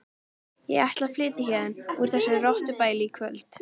Ég ætla að flytja héðan úr þessu rottubæli í kvöld.